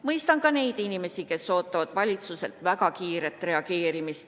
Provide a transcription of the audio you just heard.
Mõistan ka neid inimesi, kes ootavad valitsuselt väga kiiret reageerimist.